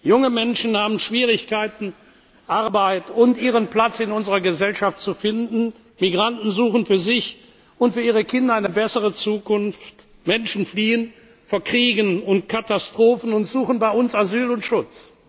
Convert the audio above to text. Junge Menschen haben Schwierigkeiten, Arbeit und ihren Platz in unserer Gesellschaft zu finden, Migranten suchen für sich und für ihre Kinder eine bessere Zukunft, Menschen fliehen vor Kriegen und Katastrophen und suchen bei uns Asyl und